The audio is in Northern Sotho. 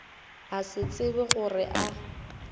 a se tsebe gore a